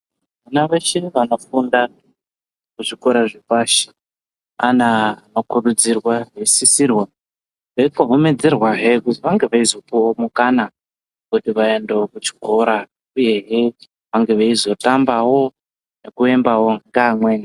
Vana veshe vanofunda ku zvikora zve pashi ana ano kurudzirwa eyi sisirwa eyi kohomedzerwa hee kuzi vange veizo puwa mukana wekuti vaendewo ku chikora uyehe vange veizo tambawo ngeku embawo nge amweni.